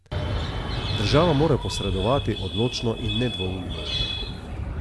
Država mora posredovati odločno in nedvoumno.